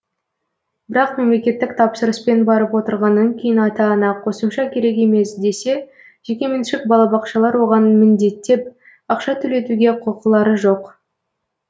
бірақ мемлекетттік тапсырыспен барып отырғаннан кейін ата ана қосымша керек емес десе жекеменшік балабақшалар оған міндеттеп ақша төлетуге құқылары жоқ